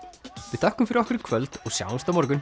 við þökkum fyrir okkur í kvöld og sjáumst á morgun